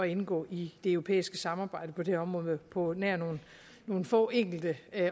indgå i det europæiske samarbejde på det område på nær nogle få enkelte